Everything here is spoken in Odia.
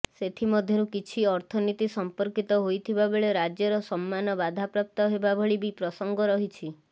ସେଥିମଧ୍ୟରୁ କିଛି ଅର୍ଥନୀତି ସଂପର୍କିତ ହୋଇଥିବା ବେଳେ ରାଜ୍ୟର ସମ୍ମାନ ବାଧାପ୍ରାପ୍ତ ହେବା ଭଳି ବି ପ୍ରସଙ୍ଗ ରହିଛି